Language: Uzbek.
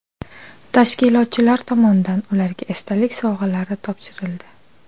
Tashkilotchilar tomonidan ularga esdalik sovg‘alari topshirildi.